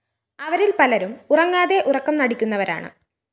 അവരില്‍ പലരും ഉറങ്ങാതെ ഉറക്കം നടിക്കുന്നവരാണ്